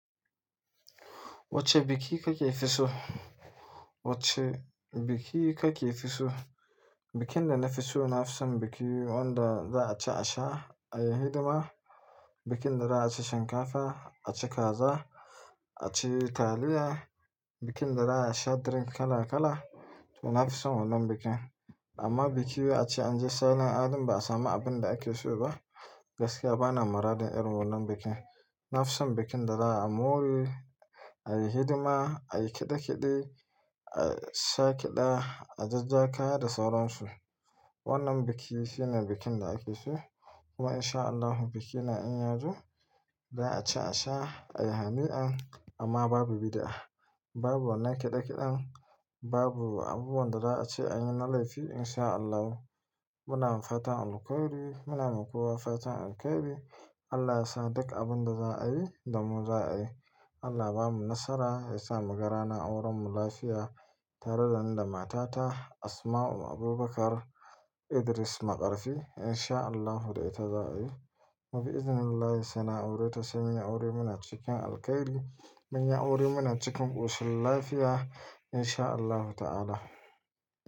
Wacce biki kake fi so? Wacce biki ka ke fi so? Bikin da na fi so nafi son biki wanda za'a ci a sha, ayi hidima, bikin da za'a ci shinkafa, a ci kaza, a ci taliya, bikin da za'a sha drink kala kala, to nafi son wannan bikin. Amma biki wai ace anje salin alin ba a samu abin da ake so ba, gaskiya bana maradin irin wannan bikin. Nafison bikin da za a more, a yi hidima, a yi kiɗe-kiɗe, a sha ƙiɗa, a jajja kaya da sauran su. Wannan biki shine bikin da ake so. Kuma insha Allahu biki na in ya zo, za'a ci a sha, a yi hani'an, amma babu bidi'a, babu wannan kiɗe kiɗen, babu abubuwan da za'a ce an yi na laifi insha Allahu. Muna fatan alkhairi, muna makowa fatan alkhairi. Allah yasa duk abun da za'a yi, damu za'a yi. Allah ba mu nasara, ya sa muga ranar auren mu lafiya, tare da ni da matata Asma'u Abubakar Idris Maƙarfi, insha Allahu da ita za'a yi. Mu bi izinullahi saina aure ta sai munyu aure muna cikin alkhairi, munyi aure muna cikin kum ƙoshin lafiya insha Allahu ta'ala.